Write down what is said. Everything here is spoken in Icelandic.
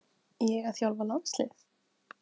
Ég að þjálfa landslið?